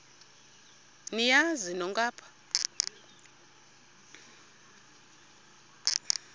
niyazi nonk apha